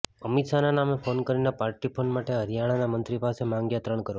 અમિત શાહના નામે ફોન કરીને પાર્ટી ફંડ માટે હરિયાણાના મંત્રી પાસે માંગ્યા ત્રણ કરોડ